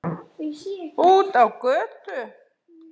Út á götu.